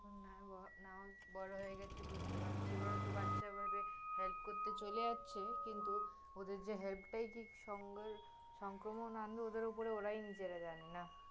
বড়ো হয়ে গেছি বুঝতে পারছি, ওরা তহ বাচ্চা ভাবে help করতে চলে যাচ্ছে কিন্তু ওদের যে কি help টাই কি সঙ্গের~ সঙ্ক্রমণ আনবে ওদের উপর এরাই নিজেরা জানে না